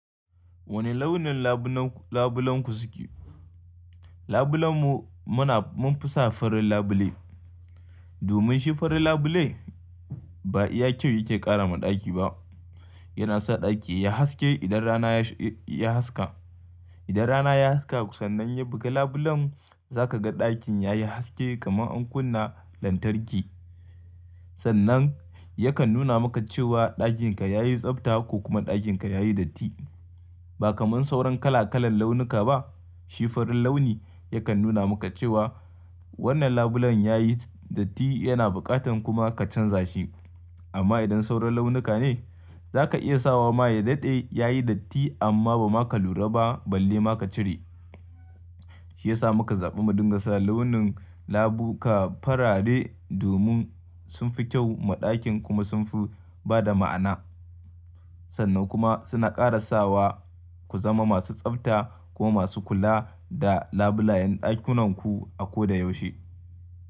Wane launin labulenku suke? Labulenmu muna, mun fi sa farin labule. Domin shi farin labule ba iya kyau yake ƙara ma ɗaki ba. Yana sa ɗaki ya haske idan rana ya sh, ya haske. Idan rana ya haske sannan ya buga labulen za ka ga ɗakin yayi haske kamar an kunna lantarki. Sannan yakan nuna maka cewa ɗakinka yayi tsabta ko kuma ɗakinka yayi datti. Ba kamar sauran kala-kalan launuka ba, shi farin launi yakan nuna maka cewa wannan labulen yayi datti yana buƙatan kuma ka canza shi. Amma idan sauran launuka ne, za ka iya sawa ma ya daɗe yayi datti amma ba ma ka lura ba balle ma ka cire. Shi ya sa muka zaɓi mu dinga sa launin labuka farare domin sun fi kyau ma ɗakin kuma sun fi ba da ma'ana. Sannan kuma suna ƙara sawa ku zama masu tsabta kuma masu kula da labulayen ɗakunanku a ko da yaushe.